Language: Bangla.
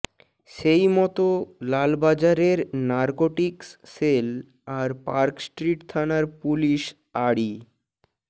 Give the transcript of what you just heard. সেই মতো লালবাজারের নারকোটিক্স সেল আর পার্কস্ট্রিট থানার পুলিস আড়ি